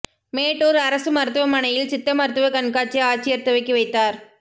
மேட்டூா் அரசு மருத்துவமனையில் சித்த மருத்துவ கண்காட்சி ஆட்சியா் துவக்கி வைத்தாா்